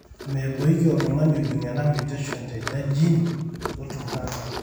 meepoiki tung'ani ojung ena mutation tena gene utum cancer.